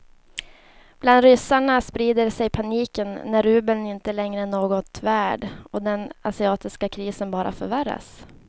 Bland ryssarna sprider sig paniken när rubeln inte längre är något värd och den asiatiska krisen bara förvärras.